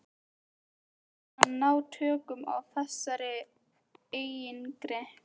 Hann yrði að læra að ná tökum á þessari eigingirni.